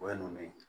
O ye ninnu ye